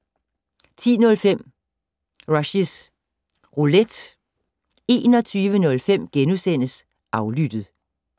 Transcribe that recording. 10:05: Rushys Roulette 21:05: Aflyttet *